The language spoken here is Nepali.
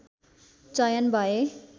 चयन भए